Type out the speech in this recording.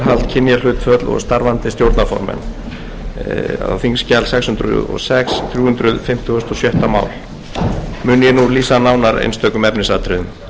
fimmtugasta og sjötta mál mun ég nú lýsa nánar einstökum efnisatriðum með frumvarpi þessu eru lagðar til